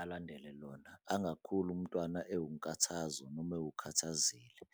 alandele lona, angakhuli umntwana ewunkathazo noma ewukhathazile.